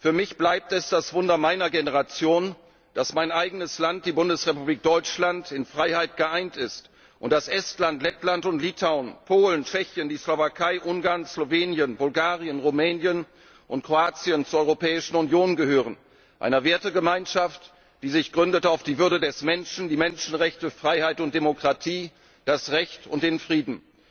Für mich bleibt es das Wunder meiner Generation, dass mein eigenes Land, die Bundesrepublik Deutschland, in Freiheit geeint ist und dass Estland, Lettland und Litauen, Polen, Tschechien, die Slowakei, Ungarn, Slowenien, Bulgarien, Rumänien und Kroatien zur EU gehören einer Wertegemeinschaft, die sich gründet auf die Würde des Menschen, die Menschenrechte, Freiheit und Demokratie, das Recht und den Frieden.